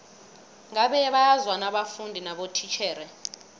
ngabe bayazwana abafundi nabotitjhere